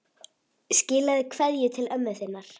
Skilaðu kveðju til ömmu þinnar.